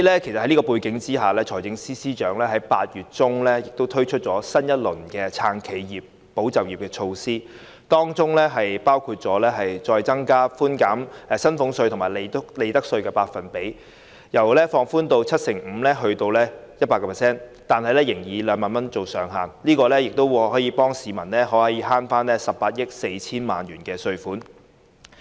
在這種背景下，財政司司長於8月中推出新一輪"撐企業、保就業"的措施，當中包括提高寬減薪俸稅及利得稅的百分比，由寬免 75% 提高至 100%， 但仍以2萬元作為上限，此舉可以幫助市民節省18億 4,000 萬元稅款。